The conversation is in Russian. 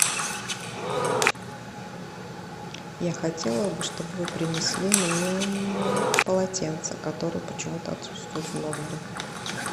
я хотела бы чтоб вы принесли мне полотенца которые почему то отсутствуют в номере